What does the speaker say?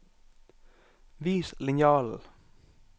Vis linjalen